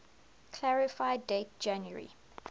clarify date january